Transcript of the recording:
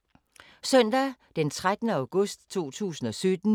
Søndag d. 13. august 2017